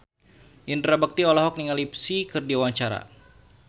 Indra Bekti olohok ningali Psy keur diwawancara